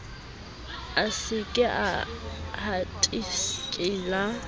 a se ke a hatikela